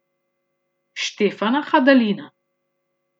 Štefana Hadalina.